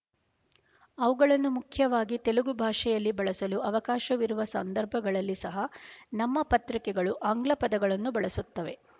ಅವುಗಳನ್ನು ಮುಖ್ಯವಾಗಿ ತೆಲುಗು ಭಾಷೆಯಲ್ಲಿ ಬಳಸಲು ಅವಕಾಶವಿರುವ ಸಂದರ್ಭಗಳಲ್ಲಿ ಸಹ ನಮ್ಮ ಪತ್ರಿಕೆಗಳು ಆಂಗ್ಲ ಪದಗಳನ್ನು ಬಳಸುತ್ತವೆ